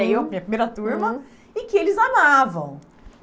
Eu, minha primeira turma, uhum, e que eles amavam.